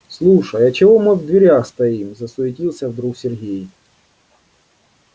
слушай а чего мы в дверях стоим засуетился вдруг сергей